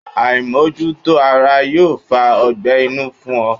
Aimojuto ara yoo fa ọgbẹ́ inu fun ọ